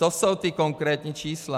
To jsou ta konkrétní čísla.